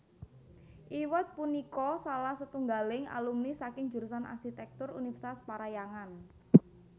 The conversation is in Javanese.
Iwet punika salah setunggaling alumni saking jurusan Arsitèktur Univèrsitas Parahyangan